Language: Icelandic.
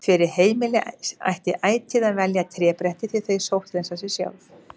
Fyrir heimili ætti ætíð að velja trébretti því þau sótthreinsa sig sjálf.